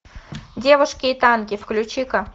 девушки и танки включи ка